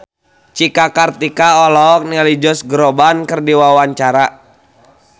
Cika Kartika olohok ningali Josh Groban keur diwawancara